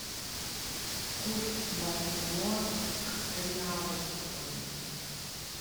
курс бальбоа к реалу сегодня